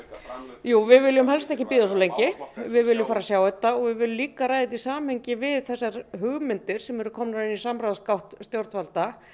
jú við viljum helst ekki bíða svo lengi við viljum fara að sjá þetta og við viljum líka ræða þetta í samhengi við þessar hugmyndir sem eru komnar inn í samráðsgátt stjórnvalda